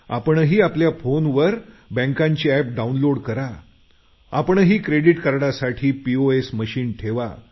आपणही आपल्या मोबाईल फोनवर बँकांची एप डाऊनलोड करा आपणही क्रेडिट कार्डसाठी पीओएस मशीन ठेवा